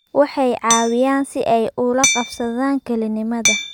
Waxay caawiyaan si ay ula qabsadaan kalinimada